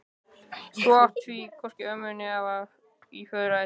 Þú átt því hvorki ömmu né afa í föðurætt.